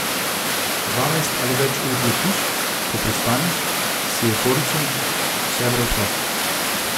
Dvanajst ali več ur letiš, ko pristaneš, si evforičen, vse je preprosto.